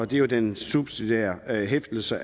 det er den subsidiære hæftelse